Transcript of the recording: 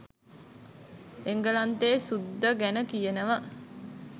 එංගලන්තේ සුද්ද ගැන කියනව